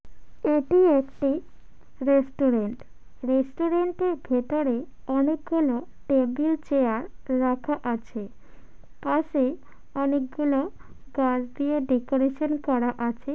এটি একটি রেস্টুরেন্ট । রেস্টুরেন্টের ভেতরে অনেকগুলা টেবিল চেয়ার রাখা আছে। পাশে অনেক গুলো গাছ দিয়ে ডেকোরেশন করা আছে।